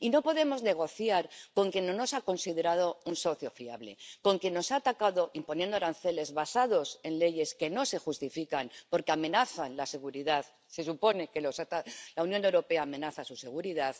Y no podemos negociar con quien no nos ha considerado un socio fiable, con quien nos ha atacado imponiendo aranceles basados en leyes que no se justifican porque amenazan la seguridad —se supone que la Unión Europea amenaza su seguridad—